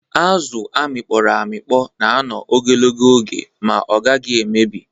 Azụ a mịkpọrọ amịkpọ na-anọ ogologo oge ma ọ gaghị emebi.